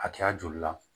Hakɛya joli la